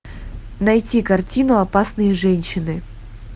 найти картину опасные женщины